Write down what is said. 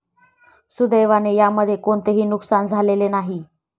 सुदैवाने यामध्ये कोणतेही नुकसान झालेले नाही.